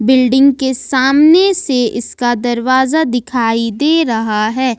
Building के सामने से इसका दरवाजा दिखाई दे रहा है।